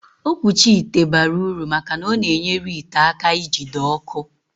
Okwuchi ite bara uru maka na ọ na-enyere ite aka ijite ọkụ